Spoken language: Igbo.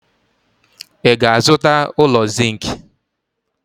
Ị ga-azụta ụlọ zinc?